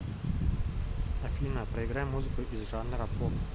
афина проиграй музыку из жанра поп